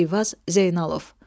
Eyvaz Zeynalov.